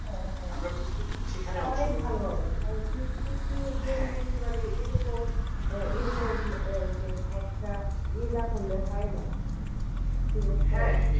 অনেক ভালো হবে picnic গেলেই মানে ওরকম এরকম যে একটা ইয়া না করলে হয় না ঠিক আছে